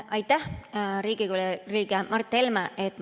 Aitäh, Riigikogu liige Mart Helme!